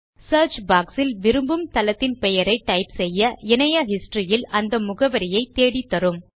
search box ல் விரும்பும் தளத்தின் பெயரை டைப் செய்ய இணைய historyயில் அந்த முகவரியை தேடித்தரும்